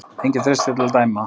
Enginn treysti sér til að dæma.